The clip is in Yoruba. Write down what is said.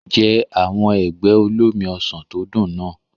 Jẹ àwọn ẹ̀gbẹ́ olómi ọsàn tó dùn náà.